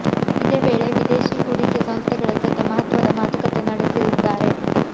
ಇದೇ ವೇಳೆ ವಿದೇಶಿ ಹೂಡಿಕೆ ಸಂಸ್ಥೆಗಳ ಜತೆ ಮಹತ್ವದ ಮಾತುಕತೆ ನಡೆಸಲಿದ್ದಾರೆ